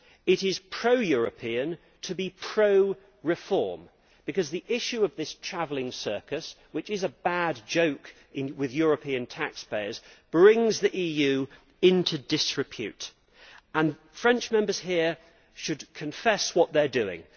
It is pro European to be pro reform because the issue of this travelling circus which is a bad joke with European taxpayers brings the EU into disrepute, and French Members here should confess what they are doing.